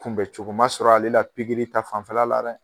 Kunbɛcogo ma sɔrɔ ale la ta fanfɛla la dɛ.